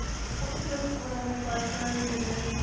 ਕੁਛ ਉਹਨਾਂ ਦੀਆਂ personal ਜਿਹੜੀਆਂ ਨੇ